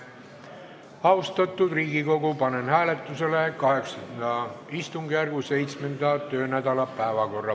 Austatud Riigikogu, panen hääletusele VIII istungjärgu 7. töönädala päevakorra.